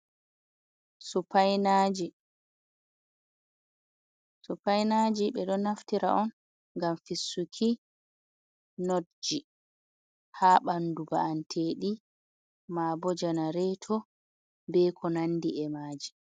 Supainajii. Supainajii, ɓe ɗoo naftira on, gam fistuki nootjii, ha bannduu baanteeɗi maaboo janareeto be ko nandi e maji.